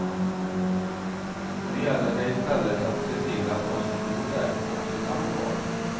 Nu gäller det istället att se till att de som bor där också stannar kvar.